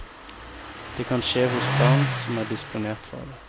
Det kan skje hos barn som er disponert for det.